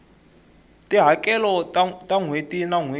tihakelo ta nhweti na nhweti